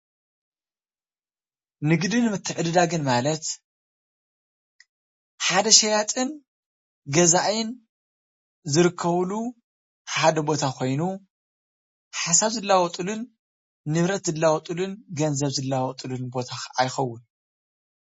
ንግድን ምትዕድዳግን ማለት ሓደ ሽያጥን ገዛእን ዝርከብሉ ሓደ ኾይኑ ሓሳብ ዝላዋወጥሉን ንብረት ዝለዋወጥሉን ገንዘብ ዝላወጥሉን ቦታ ካዓ ይኸውን።